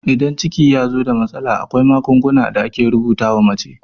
Idan ciki yazo da matsala, akwai magungunan da ake rubuta wa mace